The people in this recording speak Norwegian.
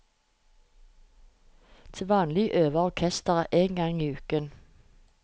Til vanlig øver orkesteret én gang i uken.